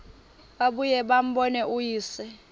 babuye bambone uyise